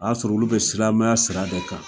O y'a sɔrɔ olu bɛ silamɛya sira de kan.